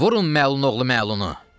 Vurun məlun oğlu məlunu!